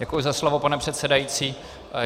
Děkuji za slovo, pane předsedající.